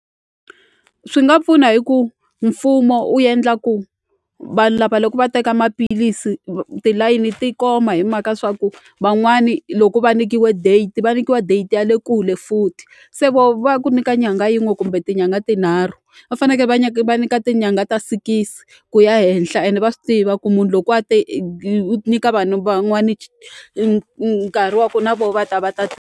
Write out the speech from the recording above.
Swi nga pfuna hi ku mfumo wu endla ku vanhu lava loko va teka maphilisi tilayini ti koma hi mhaka swa ku van'wani loko va nyikiwe date va nyikiwa data ya le kule futhi se voho va ku nyika nyanga yin'we kumbe tinyangha tinharhu va faneke va nyika va nyika tinyangha ta sikisi ku ya henhla ende va swi tiva ku munhu loko a te nyika vanhu van'wani nkarhi wa ku na voho va ta va ta .